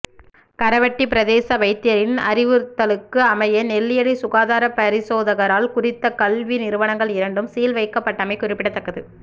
கரவெட்டி பிரதேச வைத்தியரின் அறிவுறுத்தலுக்கு அமைய நெல்லியடி சுகாதார பரிசோதகரால் குறித்த கல்வி நிறுவனங்கள் இரண்டும் சீல் வைக்கப்பட்டமை குறிப்பிடத்தக்கது